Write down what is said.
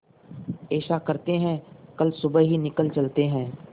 ऐसा करते है कल सुबह ही निकल चलते है